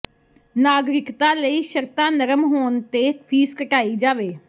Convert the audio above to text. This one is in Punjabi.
ਨਾਗਰਿਕਤਾ ਲਈ ਸ਼ਰਤਾਂ ਨਰਮ ਹੋਣ ਤੇ ਫੀਸ ਘਟਾਈ ਜਾਵੇ